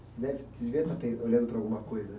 Você deve, você deveria estar olhando para alguma coisa, né?